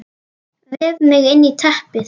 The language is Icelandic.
Vef mig inn í teppið.